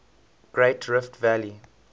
great rift valley